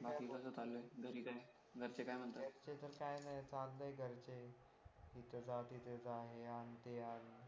काय बाकी कसं चालू आहे घरी काय घरचे काय म्हणतात घरच्याच काही नाही चागलंय घरचे येथे जा तिथे जा हे आण ते आण